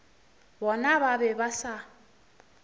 bona ba be ba sa